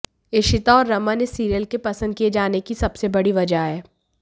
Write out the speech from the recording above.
इशिता और रमन इस सीरियल के पसंद किए जाने की सबसे बड़ी वजह हैं